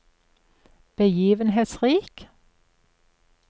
begivenhetsrik